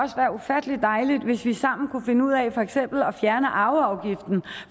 ufattelig dejligt hvis vi sammen kunne finde ud af for eksempel at fjerne arveafgiften